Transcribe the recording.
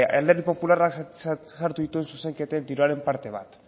alderdi popularra sartu dituen zuzenketen diruaren parte bat